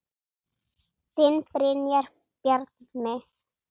Þinn Brynjar Bjarmi.